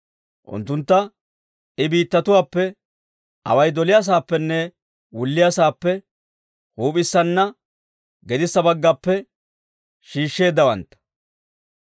Unttuntta I biittatuwaappe, away doliyaasaappenne wulliyaasaappe, huup'issanne gedissa baggappe shiishsheeddawantta.